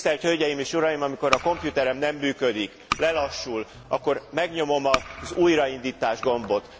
Tisztelt hölgyeim és uraim, amikor a komputerem nem működik, lelassul, akkor megnyomom az újraindítás gombot.